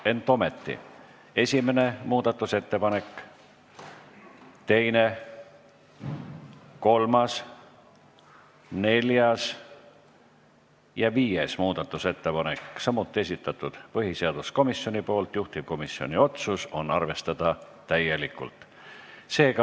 Ent ometi: esimene muudatusettepanek, teine, kolmas, neljas ja viies muudatusettepanek, samuti põhiseaduskomisjonilt, juhtivkomisjoni otsus on arvestada täielikult.